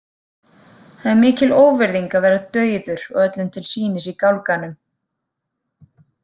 Það er mikil óvirðing að vera dauður og öllum til sýnis í gálganum.